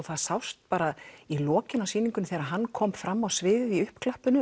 það sást bara í lokin á sýningunni þegar hann kom fram á sviðið